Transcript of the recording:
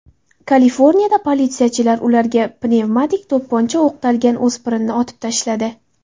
Kaliforniyada politsiyachilar ularga pnevmatik to‘pponcha o‘qtalgan o‘spirinni otib tashladi.